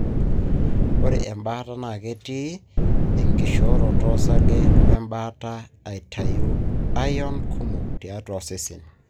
ore embaata na ketii inkishoroto osarge we mbaata aitayu iron kumok tiatua osesen.